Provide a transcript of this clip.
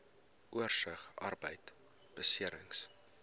oorsig arbeidbeserings